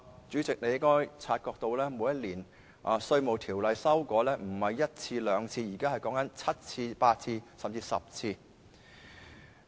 主席，你應該察覺到每年《稅務條例》的修訂次數不止1次、2次，現時是7次、8次，甚至10次。